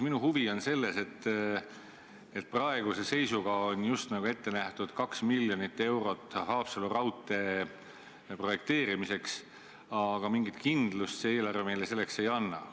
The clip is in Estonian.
Minu huvi on selles, et praeguse seisuga on just nagu ette nähtud 2 miljonit eurot Haapsalu raudtee projekteerimiseks, aga mingit kindlust see eelarve meile selleks ei anna.